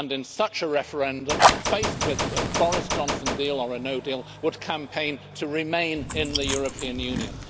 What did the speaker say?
In such a referendum, faced with a Boris Johnson deal or a no deal, they would campaign to remain in the European Union.